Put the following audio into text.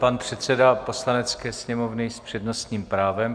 Pan předseda Poslanecké sněmovny s přednostním právem.